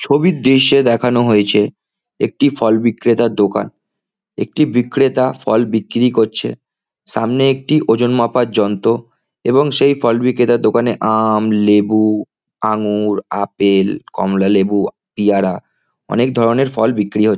ছবির দৃশ্যে দেখানো হয়েছে একটি ফল বিক্রেতার দোকান। একটি বিক্রেতা ফল বিক্রি করছে। সামনে একটি ওজন মাপার যন্ত্র এবং সেই ফল বিক্রেতার দোকানে আম লেবু আঙুর আপেল কমলালেবু পিয়ারা অনেকধরণের ফল বিক্রি হ--